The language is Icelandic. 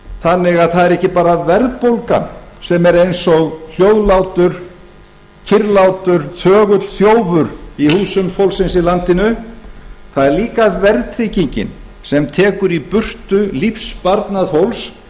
þannig að það er ekki bara verðbólgan sem er eins og hljóðlátur kyrrlátur þögull þjófur í húsum fólksins í landinu það er líka verðtryggingin sem tekur í burtu lífssparnað fólks